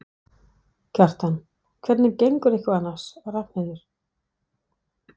Kjartan: Hvernig gengur ykkur annars, Ragnheiður?